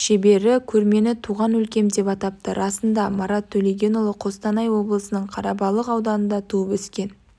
шебері көрмені туған өлкем деп атапты расында марат төлегенұлы қостанай облысының қарабалық ауданында туып өскен